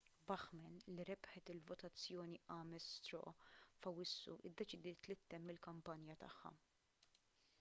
bachmann li rebħet il-votazzjoni ames straw f'awwissu iddeċidiet li ttemm il-kampanja tagħha